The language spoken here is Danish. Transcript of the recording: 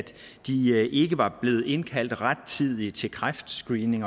de ikke var blevet indkaldt rettidigt til kræftscreening